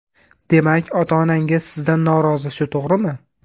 Demak, ota-onangiz sizdan norozi, shu to‘g‘rimi?